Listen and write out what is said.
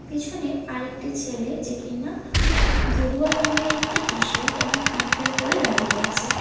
পিছনে আরেকটি ছেলে যে কিনা গেরুয়া রঙের একটি টি_শার্ট এবং হাফ প্যান্ট পরে দাঁড়িয়ে আছে।